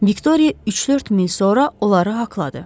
Viktoriya üç-dörd mil sonra onları haqladı.